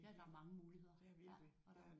Ja der er mange muligheder